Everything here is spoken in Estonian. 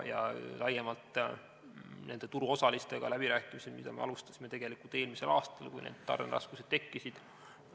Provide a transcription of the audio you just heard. Ja laiemalt, turuosalistega alustasime läbirääkimisi eelmisel aastal, kui tarneraskused tekkisid.